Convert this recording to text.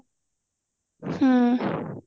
ହୁଁ